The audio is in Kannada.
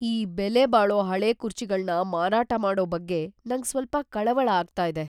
ಈ ಬೆಲೆಬಾಳೋ ಹಳೇ ಕುರ್ಚಿಗಳ್ನ ಮಾರಾಟ ಮಾಡೋ ಬಗ್ಗೆ ನಂಗ್‌ ಸ್ವಲ್ಪ ಕಳವಳ ಆಗ್ತಾ ಇದೆ.